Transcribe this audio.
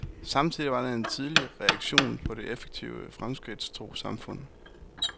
Samtidig var det en tidlig reaktion på det effektive, fremskridtstro samfund.